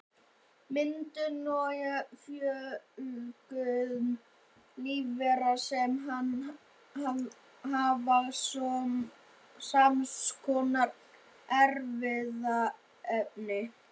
Myndun og fjölgun lífvera sem hafa sams konar erfðaefni.